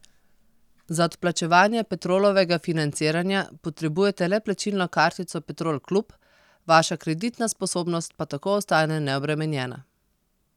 Za odplačevanje Petrolovega financiranja potrebujete le plačilno kartico Petrol klub, vaša kreditna sposobnost pa tako ostane neobremenjena.